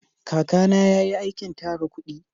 Kaka na ya yi aikin tara kudi